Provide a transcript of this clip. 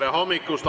Tere hommikust!